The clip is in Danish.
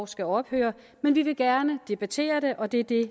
skal ophøre men vi vil gerne debattere det og det er det